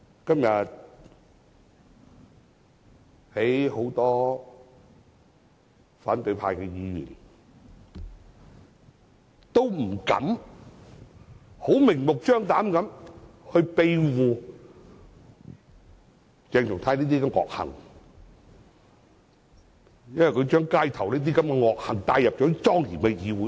今天，很多反對派議員不敢明目張膽地庇護鄭松泰的惡行，因為他將街頭的惡行帶入莊嚴的議會內。